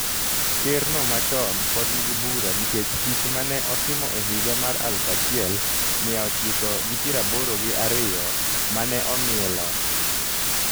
ker no machon pod nigi bura nikech tich ma ne otimo e higa mar aluf achiel miya ochiko gi piero aboro gi ariyo ma ne omiye loch.